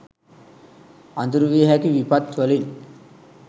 අඳුරු විය හැකි විපත් වලින්